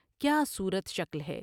کیا صورت شکل ہے ۔